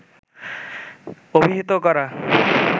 অভিহিত করা